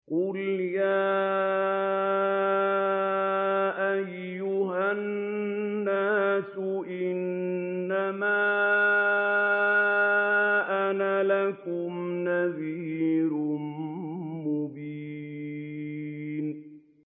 قُلْ يَا أَيُّهَا النَّاسُ إِنَّمَا أَنَا لَكُمْ نَذِيرٌ مُّبِينٌ